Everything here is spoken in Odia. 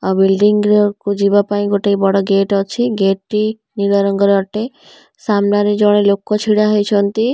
ଆଉ ବିଲ୍ଡିଂ ର କୁ ଯିବାପାଇଁ ଗୋଟେ ବଡ଼ ଗେଟ୍ ଅଛି ଗେଟ୍ ଟି ନୀଳ ରଙ୍ଗର ଅଟେ ସାମ୍ନାରେ ଜଣେ ଲୋକ ଛିଡ଼ା ହେଇଚନ୍ତି।